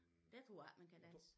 Dér tror jeg ikke man kan danse